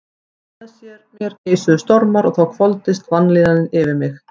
Innra með mér geisuðu stormar og þá hvolfdist vanlíðanin yfir mig.